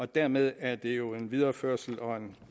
dermed er det jo en videreførsel og